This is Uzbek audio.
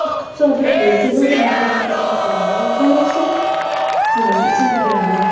Iqtisodiyot bo‘yicha Nobel mukofoti shartnomalar nazariyasi rivoji uchun berildi.